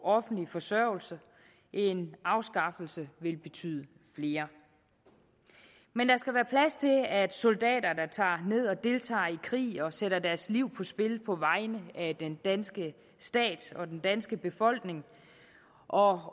offentlig forsørgelse en afskaffelse vil betyde flere men der skal være plads til at soldater der tager ned og deltager i krig og sætter deres liv på spil på vegne af den danske stat og den danske befolkning og